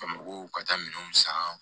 Bamakɔ ka taa minɛnw san